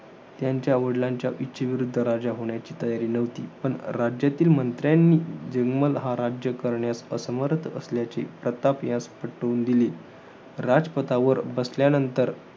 त्यांच्या वडिलांच्या इच्छेविरुद्ध राजा होण्याची तयारी नव्हती. मन राज्यातील मंत्र्यांनी जीग्मल हा राज्य करण्यास असमर्थ असल्याचे प्रताप यास पटवून दिले. राजपटावर बसल्यानंतर